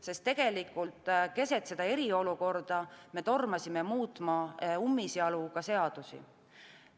Sest keset eriolukorda me tormasime ummisjalu muutma ka seadusi.